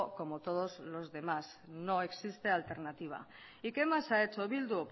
como todos los demás no existe alternativa y qué más ha hecho bildu